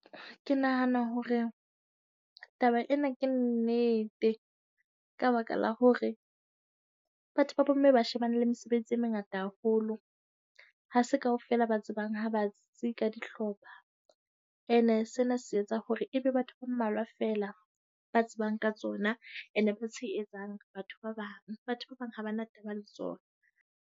Ke nahana hore taba ena ke nnete, ka baka la hore batho ba bomme ba shebane le mesebetsi e mengata haholo. Ha se kaofela ba tsebang ha batsi ka dihlopha. Ene sena se etsa hore ebe batho ba mmalwa feela ba tsebang ka tsona and ba tshehetsang batho ba bang. Batho ba bang ha ba na taba le tsona.